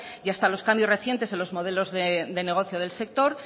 y hasta los cambios recientes en los modelos de negocio del sector